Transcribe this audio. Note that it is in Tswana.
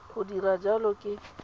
ya go dira jalo ke